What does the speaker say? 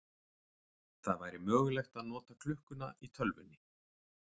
Það væri mögulegt að nota klukkuna í tölvunni.